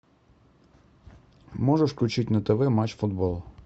можешь включить на тв матч футбол